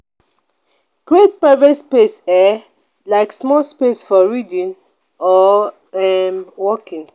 create private zones um like small space for reading or um working